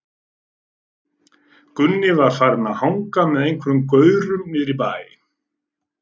Gunni var farinn að hanga með einhverjum gaurum niðri í bæ.